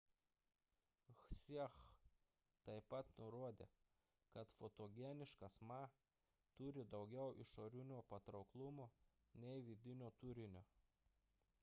hsieh taip pat nurodė kad fotogeniškas ma turi daugiau išorinio patrauklumo nei vidinio turinio